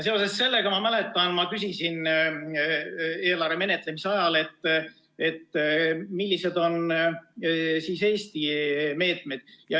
Seoses sellega, ma mäletan, et küsisin eelarve menetlemise ajal, millised on Eesti meetmed.